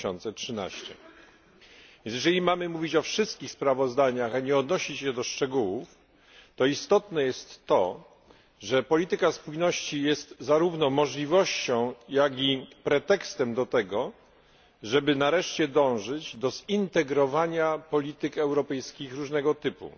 2013. A więc, jeżeli mamy mówić o wszystkich sprawozdaniach, a nie odnosić się do szczegółów, to istotne jest to, że polityka spójności jest zarówno możliwością, jak i pretekstem do tego, żeby nareszcie dążyć do zintegrowania polityk europejskich różnego typu,